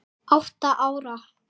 Átta ára